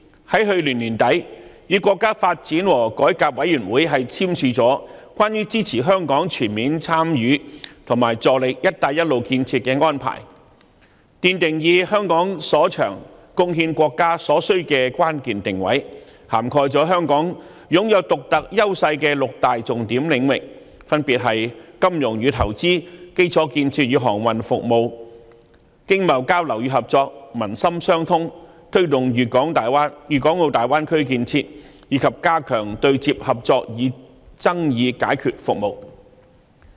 去年年底，特區政府與國家發展和改革委員會簽署《關於支持香港全面參與和助力"一帶一路"建設的安排》，奠定以香港所長貢獻國家所需的關鍵定位，涵蓋香港擁有獨特優勢的六大重點領域，分別是金融與投資、基礎建設與航運服務、經貿交流與合作、民心相通、推動粵港澳大灣區建設，以及加強對接合作與爭議解決服務。